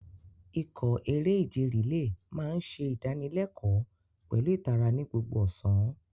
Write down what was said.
Ikọ̀ eré-ìje relay máa ń ṣe ìdánilẹ́kọ̀ọ́ pẹ̀lú ìtara ní gbogbo ọ̀sán.